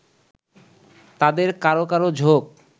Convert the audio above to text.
তাদের কারো কারো ঝোঁক